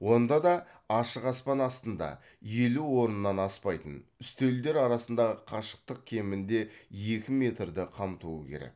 онда да ашық аспан астында елу орыннан аспайтын үстелдер арасындағы қашықтық кемінде екі метрді қамтуы керек